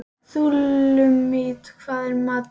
Súlamít, hvað er í matinn?